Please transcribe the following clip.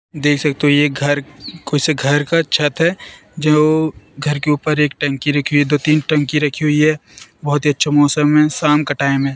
देख सकते हो ये घर कोइ से घर का छत है जो घर के ऊपर एक टंकी रखी हुई है दो तीन टंकी रखी हुई है बहुत ही अच्छा मौसम है साम का टाइम है।